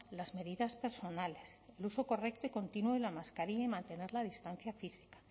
las medidas personales el uso correcto y continuo de la mascarilla y mantener la distancia física